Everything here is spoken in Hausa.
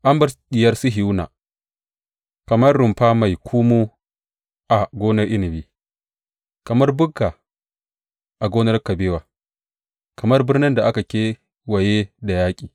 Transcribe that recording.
An bar diyar Sihiyona kamar rumfar mai ƙumu a gonar inabi, kamar bukka a gonar kabewa, kamar birnin da aka kewaye da yaƙi.